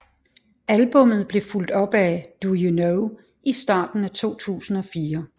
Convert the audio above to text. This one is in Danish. Albummet blev fulgt op af Do You Know i starten af 2004